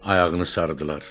Ayağını sarıdılar.